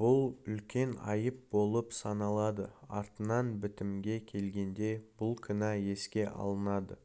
бұл үлкен айып болып саналады артынан бітімге келгенде бұл кінә еске алынады